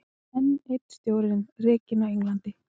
Enn einn stjórinn rekinn á Englandi